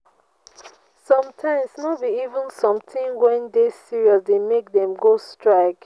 sometimes no be even sometin wey dey serious dey make dem go strike.